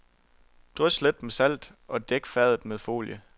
Drys let med salt og dæk fadet med folie.